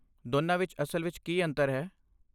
ਦੋਨਾਂ ਵਿੱਚ ਅਸਲ ਵਿੱਚ ਕੀ ਅੰਤਰ ਹੈ?